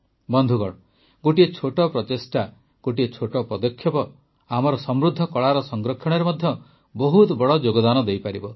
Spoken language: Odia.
ବନ୍ଧୁଗଣ ଗୋଟିଏ ଛୋଟ ପ୍ରଚେଷ୍ଟା ଗୋଟିଏ ଛୋଟ ପଦକ୍ଷେପ ମଧ୍ୟ ଆମର ସମୃଦ୍ଧ କଳାର ସଂରକ୍ଷଣରେ ବହୁତ ବଡ଼ ଯୋଗଦାନ ଦେଇପାରିବ